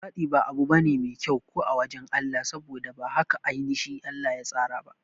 Luwaɗi ba abu bane mai kyau ko a wajan Allah, saboda ba haka ainashi Allah ya tsara ba